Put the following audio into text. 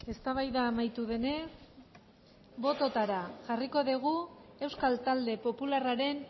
eztabaida amaitu denez bototara jarriko dugu euskal talde popularraren